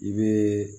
I bɛ